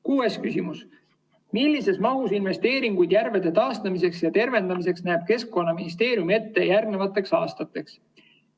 Kuues küsimus: "Millises mahus investeeringuid järvede taastamiseks ja tervendamiseks näeb Keskkonnaministeerium ette järgnevateks aastateks?